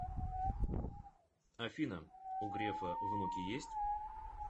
афина у грефа внуки есть